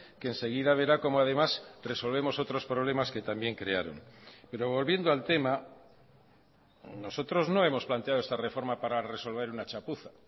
que enseguida verá cómo además resolvemos otros problemas que también crearon pero volviendo al tema nosotros no hemos planteado esta reforma para resolver una chapuza